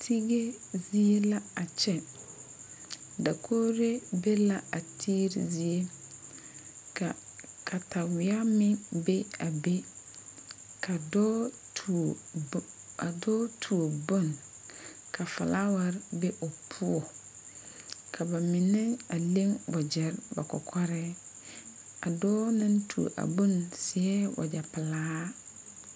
Tige zie la a kyɛ dakogri be la a Tigri zie ka kataweɛ meŋ be a be ka dɔɔ tuo ka dɔɔ tuo bon ka filaware be o poɔ ka mine leŋ wagyɛre ba kɔkɔreŋ a dɔɔ naŋ tuo bon seɛ wagyɛ pelaa.